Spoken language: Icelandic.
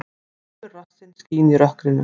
Hvítur rassinn skín í rökkrinu.